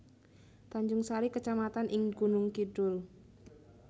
Tanjungsari kecamatan ing Gunung Kidul